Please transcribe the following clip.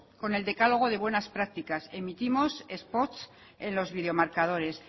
con el decálogo de buenas prácticas emitimos spots en los videomarcadores